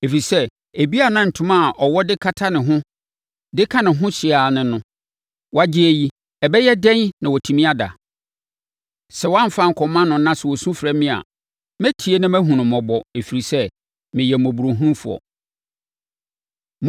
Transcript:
Ɛfiri sɛ, ebia na ntoma a ɔwɔ de kata ne ho de ka ne ho hye ara ne no; woagye yi, ɛbɛyɛ dɛn na watumi ada? Sɛ woamfa ankɔma no na sɛ ɔsu frɛ me a, mɛtie na mahunu no mmɔbɔ, ɛfiri sɛ, meyɛ mmɔborɔhunufoɔ.